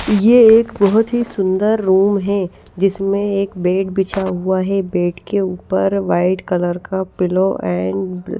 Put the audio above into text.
यह एक बहुत ही सुंदर रूम है जिसमें एक बेड बिछा हुआ है बेड के ऊपर व्हाईट कलर का पिलो एंड --